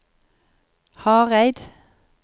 Hareid